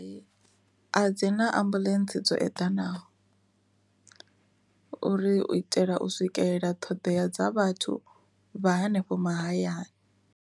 A dzi na ambulance dzo eḓanaho uri u itela u swikelela ṱhoḓea dza vhathu vha hanefho mahayani.